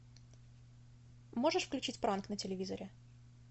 можешь включить пранк на телевизоре